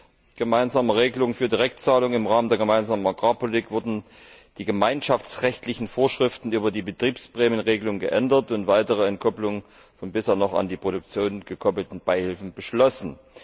mit gemeinsamen Regeln für Direktzahlungen im Rahmen der Gemeinsamen Agrarpolitik wurden die gemeinschaftsrechtlichen Vorschriften über die Betriebsprämienregelung geändert und es wurde eine weitere Entkoppelung von bisher noch an die Produktion gekoppelten Beihilfen beschlossen.